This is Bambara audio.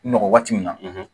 N nɔgɔ waati min na